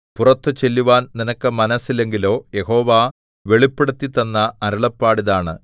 പുറത്തു ചെല്ലുവാൻ നിനക്ക് മനസ്സില്ലെങ്കിലോ യഹോവ വെളിപ്പെടുത്തിത്തന്ന അരുളപ്പാട് ഇതാണ്